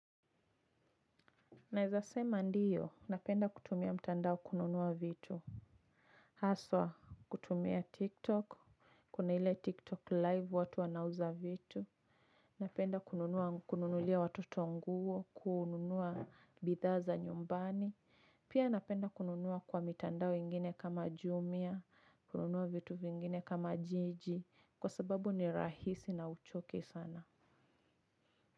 Naweza sema ndio, napenda kutumia mtandao kununua vitu. Haswa, kutumia TikTok. Kuna ile TikTok live watu wanauza vitu. Napenda kununulia watoto nguo, kununua bidhaa za nyumbani. Pia napenda kununua kwa mitandao ingine kama jumia, kununua vitu vingine kama jiji, kwa sababu ni rahisi na huchoki sana.